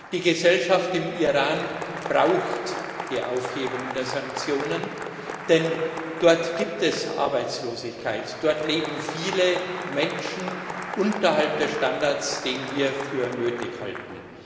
Die Gesellschaft im Iran braucht die Aufhebung der Sanktionen, denn dort gibt es Arbeitslosigkeit, dort leben viele Menschen unterhalb der Standards, die wir für nötig halten.